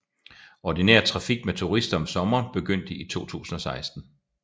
Ordinær trafik med turister om sommeren begyndte i 2016